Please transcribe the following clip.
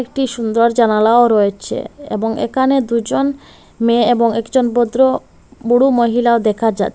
একটি সুন্দর জানালাও রয়েছে এবং একানে দুজন মেয়ে এবং একজন ভদ্র বুড়ো মহিলা দেখা যায়।